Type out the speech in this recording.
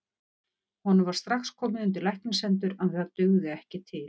Honum var strax komið undir læknishendur, en það dugði ekki til.